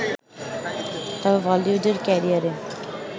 তবে বলিউডের ক্যারিয়ারে